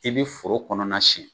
I bi foro kɔnɔna sɛn